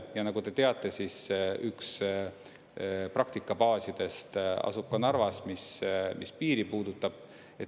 Ja nagu te teate, üks praktikabaasidest asub Narvas, mis piiri puudutab.